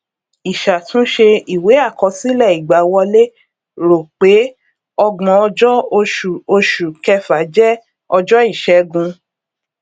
ìṣàtúnṣe ìwé àkọsílẹ ìgbàwọlé rò pé ọgbón ọjọ oṣù oṣù kẹfà jẹ ọjọ ìṣẹgun